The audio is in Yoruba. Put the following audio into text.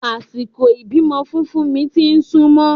Àsìkò ìbímọ fún fúnmi ti súnmọ́